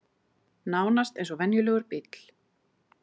Nánast eins og venjulegur bíll